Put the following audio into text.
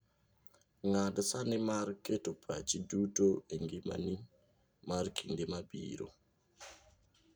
Ng'ad sani mar keto pachi duto e ngimani mar kinde mabiro.